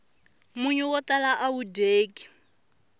munyu wo tala awu dyeki